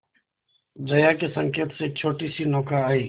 जया के संकेत से एक छोटीसी नौका आई